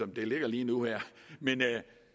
det ligger lige nu og her men